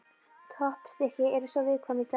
Toppstykkið er svolítið viðkvæmt í dag.